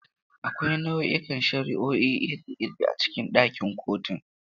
Akwai nau'ikan shari'o'i iri-iri a cikin ɗakin kotun.